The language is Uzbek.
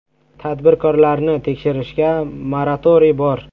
Tadbirkorlarni tekshirishga moratoriy bor.